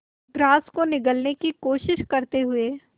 grass को निगलने की कोशिश करते हुए